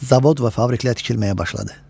Zavod və fabriklər tikilməyə başladı.